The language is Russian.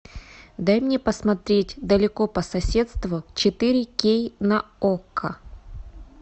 дай мне посмотреть далеко по соседству четыре кей на окко